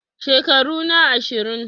Shekaru na ashirin